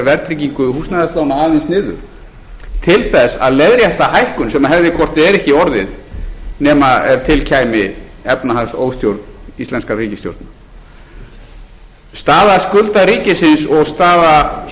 verðtryggingu húsnæðislána aðeins niður til þess að leiðrétta hækkun sem hefði hvort eð er ekki orðið nema ef til kæmi efnahagsóstjórn íslenskra ríkisstjórna staða skulda ríkisins